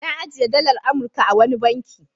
Na ajiye dalar Amurka a wani banki.